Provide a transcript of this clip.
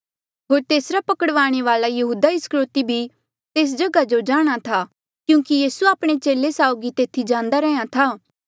होर तेसरा पकड़वाणे वाल्आ यहूदा इस्करयोति भी तेस जगहा जो जाणहां था क्यूंकि यीसू आपणे चेले साउगी तेथी जांदा रैंहयां था